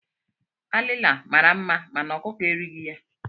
Alila mara nma mànà ọkụkọ erighi ya.